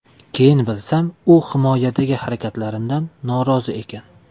Keyin bilsam, u himoyadagi harakatlarimdan norozi ekan.